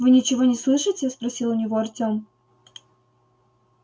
вы ничего не слышите спросил у него артём